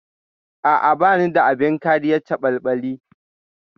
A'a, bani da abin kariyar caɓalɓali.